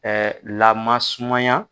laman sumaya.